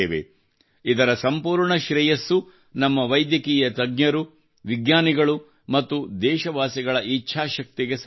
ಇದರ ಸಂಪೂರ್ಣ ಶ್ರೇಯಸ್ಸು ನಮ್ಮ ವೈದ್ಯಕೀಯ ತಜ್ಞರು ವಿಜ್ಞಾನಿಗಳು ಮತ್ತು ದೇಶವಾಸಿಗಳ ಇಚ್ಛಾಶಕ್ತಿಗೆ ಸಲ್ಲುತ್ತದೆ